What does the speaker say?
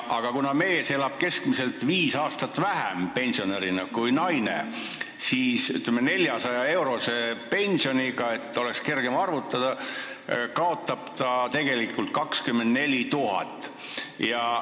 Aga kuna mees elab pensionärina keskmiselt viis aastat vähem kui naine, siis tolle 400-eurose pensioni korral kaotab ta tegelikult 24 000 eurot.